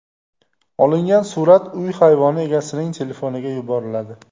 Olingan surat uy hayvoni egasining telefoniga yuboriladi.